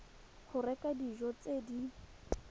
go reka dijo tse di